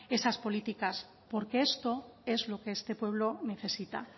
esas políticas porque esto es lo que este pueblo necesita